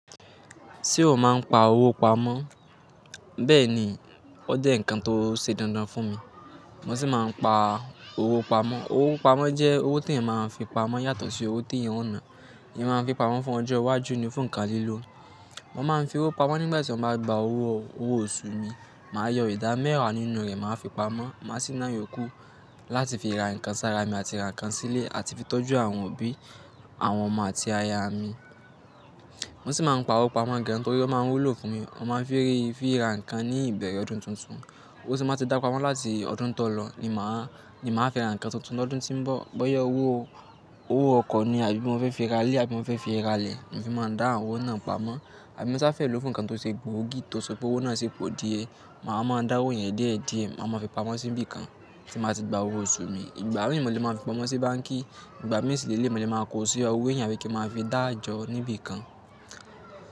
Ṣé o máa ń pa owó pamọ́? Bẹ́ẹ̀ ni, ó jẹ́ nǹkan tó ṣe dandan fún mi, mo sì máa ń pa owó pamọ́. Owó pamọ́ jẹ́ owó tí èèyàn máa fi pamọ́ yàtọ̀ sí owó tí èèyàn ó ń ná. Èèyàn máa ń fi pamọ́ fún ọjọ́ iwájú ní fún nǹkan lílò. Mo máa ń fi owó pamọ́ nígbà tí mo bá gba owó, owó oṣù mi, màá yọ ìdá mẹ́wà nínú rẹ̀, màá fi pamọ́, màá sì náà yòókù láti fi ra nǹkan sára mi àti ra nǹkan sílé àti fi tọ́jú àwọn òbí, àwọn ọmọ àti aya mi. Mo sì máa ń pa owó pamọ́ gaan nítorí ó máa ń wúlò fún mi. Mo máa fi rí, fi ra nǹkan ní ìbẹ̀rẹ̀ ọdún tuntun. Owó tí mo bá ti dá pamọ́ láti ọdún tó lọ ni màá, ni màá fi ra nǹkan tuntun lọ́dún tí ń bọ̀. Bóyá owó, owó ọkọ̀ ni àbí mo fẹ́ fi ra ilé, àbí mo fẹ́ fi ra ilẹ̀, mo fi máa dá àwọn owó náà pamọ́. Àbí mo sá fẹ́ lò ó fún nǹkan tó ṣe gbòógì, tó ṣọ̀pọ̀ owó náà sì pọ díẹ̀, màá máa dá owó yẹn déẹ̀ẹ́ díẹ̀, màá máa fi pamọ́ sí ibi kan tí mo ti gba owó oṣù mi. Ìgbà mìí ni mò le máa fi pamọ́ sí báńkì, ìgbà mìí sì ni èléyìí mo lè máa kó sí ọwọ́ èyàn àbí kí màá fi dáàjọ́ níbi kan.